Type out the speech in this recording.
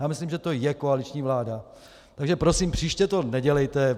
Já myslím, že je to koaliční vláda, takže prosím, příště to nedělejte.